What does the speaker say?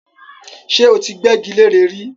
ṣé ó ti gbẹ́gi leré rí?